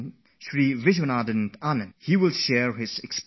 He is chess champion Vishwanathan Anand and he will relate his experiences